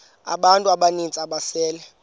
abantu abaninzi ababesele